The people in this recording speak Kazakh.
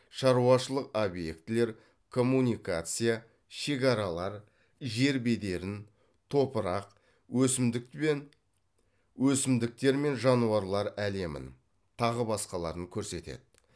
шаруашылық объектілер коммуникация шекаралар жер бедерін топырақ өсімдіктер мен жануарлар әлемін тағы басқаларын көрсетеді